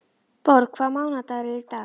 Borg, hvaða mánaðardagur er í dag?